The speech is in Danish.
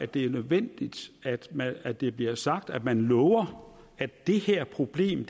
det er nødvendigt at det bliver sagt at man lover at det her problem